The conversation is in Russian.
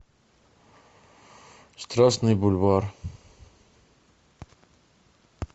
страстный бульвар